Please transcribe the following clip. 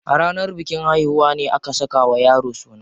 A ranar bikin haihuwa ne aka saka wa yaro suna.